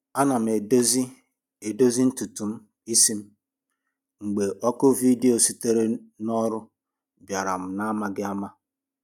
Ana m edozi edozi ntutu isi m, mgbe oku vidio sitere n’ọrụ bịara m n’amaghị ama